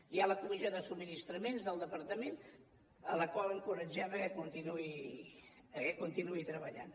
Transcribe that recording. hi ha la comissió de subministraments del departament la qual encoratgem a que continuï treballant